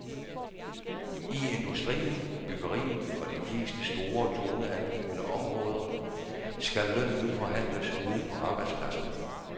I industrien, byggeriet og de fleste store toneangivende områder skal lønnen nu forhandles ude på arbejdspladserne.